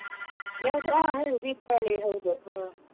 ಯಾವ್ದು ಹಾ ಹೌದ್ ದೀಪಾವಳಿ ಹೌದು ಹ.